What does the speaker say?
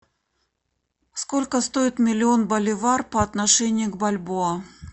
сколько стоит миллион боливар по отношению к бальбоа